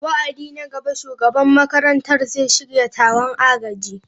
Wa'adi na gaba, Shugaban makarantar zai shirya taron agaji.